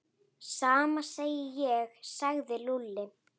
Sama segi ég sagði Lúlli.